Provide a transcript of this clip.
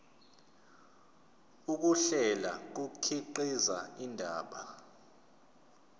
ukuhlela kukhiqiza indaba